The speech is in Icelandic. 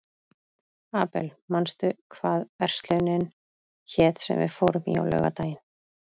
Abel, manstu hvað verslunin hét sem við fórum í á laugardaginn?